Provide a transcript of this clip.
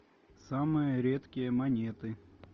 самые редкие монеты